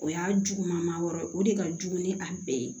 O y'a juguman ma yɔrɔ ye o de ka jugu ni a bɛɛ ye